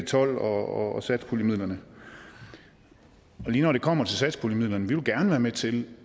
tolv og satspuljemidlerne lige når det kommer til satspuljemidlerne vil vi gerne være med til